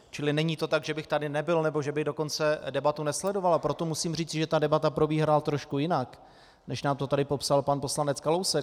Čili není to tak, že bych tady nebyl, nebo že bych dokonce debatu nesledoval, a proto musím říci, že ta debata probíhala trošku jinak, než nám to tady popsal pan poslanec Kalousek.